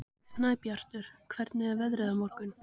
Snæbjartur, hvernig er veðrið á morgun?